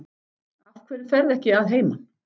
Af hverju ferðu ekki að heiman?